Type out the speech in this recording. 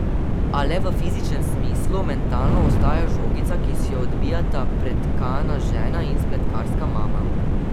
A le v fizičnem smislu, mentalno ostaja žogica, ki si jo odbijata pretkana žena in spletkarska mama.